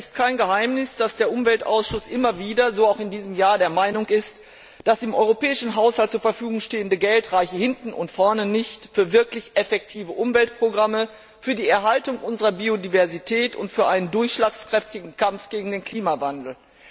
Es ist kein Geheimnis, dass der Umweltausschuss immer wieder so auch in diesem Jahr der Meinung ist, das im europäischen Haushalt zur Verfügung stehende Geld reiche hinten und vorne nicht aus für wirklich effektive Umweltprogramme, für die Erhaltung unserer Biodiversität und für einen durchschlagskräftigen Kampf gegen den Klimawandel.